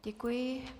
Děkuji.